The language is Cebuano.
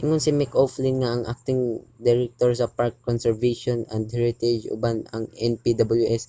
ingon si mick o'flynn ang acting director sa park conservation and heritage uban ang npws